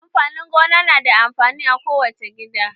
Amfanin gona na da amfani a ko wace gida.